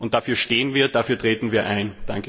Dafür stehen wir, dafür treten wir ein.